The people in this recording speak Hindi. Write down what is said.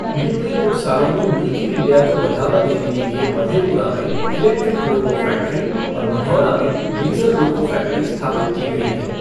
बीते कुछ सालों में मेक इन इंडिया को बढ़ावा देने के लिए मधेपुरा में इलेक्ट्रिक लोको फ़ैक्ट्री और मढ़ौरा में डीज़ल लोको फ़ैक्ट्री स्थापित की गई हैं।